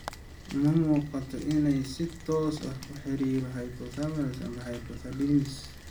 Uma muuqato inay si toos ah ula xiriirto hypothyroidism ama hyperthyroidism.